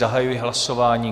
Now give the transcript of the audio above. Zahajuji hlasování.